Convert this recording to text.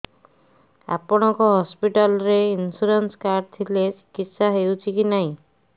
ଆପଣଙ୍କ ହସ୍ପିଟାଲ ରେ insurance card ଥିଲେ ଚିକିତ୍ସା ହେଉଛି କି ନାଇଁ